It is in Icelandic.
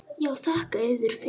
Já, þakka yður fyrir.